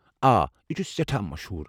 آ، یہِ چھُ سٮ۪ٹھاہ مشہوُر۔